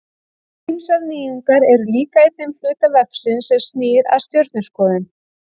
Ýmsar nýjungar eru líka í þeim hluta vefsins sem snýr að stjörnuskoðun.